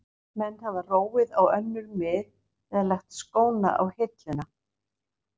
Menn hafa róið á önnur mið eða lagt skóna á hilluna.